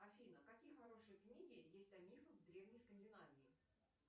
афина какие хорошие книги есть о мифах древней скандинавии